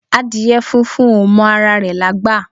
Adìyẹ funfun ò mọ ara rẹ̀ lágbà.